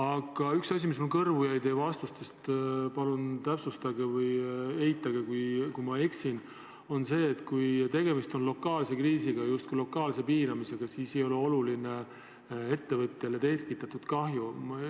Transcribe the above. Aga üks asi, mis mulle teie vastustest kõrvu jäi – palun täpsustage või eitage, kui ma eksin –, oli see, et kui tegemist on lokaalse kriisiga ja justkui lokaalse piiramisega, siis ei ole ettevõttele tekitatud kahju oluline.